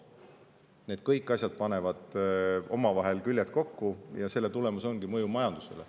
Need kõik asjad panevad omavahel küljed kokku ja selle tulemus ongi mõju majandusele.